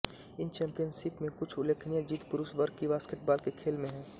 इन championship में कुछ उल्लेखनीय जीत पुरुष वर्ग क़ी बास्केटबॉल के खेल में है